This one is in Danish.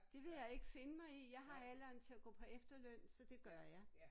Det vil jeg ikke finde mig i jeg har alderen til at gå på efterløn så det gør jeg